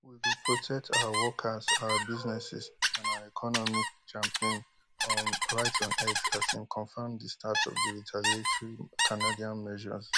we go protect our workers our businesses and our economy champagne um write on x as im confam di start of di retaliatory canadian measures